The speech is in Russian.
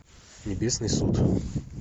небесный суд